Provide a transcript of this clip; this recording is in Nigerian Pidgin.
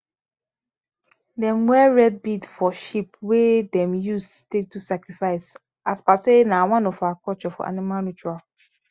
them wear red bead for sheep wey them use take do sacrifice as per say na one of our culture for animal ritual